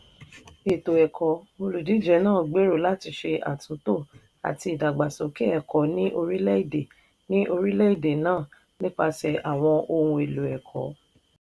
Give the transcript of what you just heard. ètò ẹ̀kọ́: olùdíje náà gbèrò láti ṣe àtúntò àti ìdàgbàsókè ẹ̀kọ́ ní orílẹ̀-èdè ní orílẹ̀-èdè náà nípasẹ̀ àwọn ohun èlò ẹ̀kọ́.